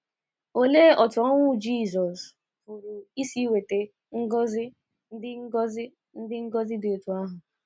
Olee otú ọnwụ Jizọs pụrụ isi weta ngọzi ndị ngọzi ndị dị otú ahụ?